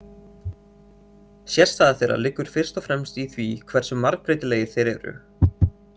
Sérstaða þeirra liggur fyrst og fremst í því hversu margbreytilegir þeir eru.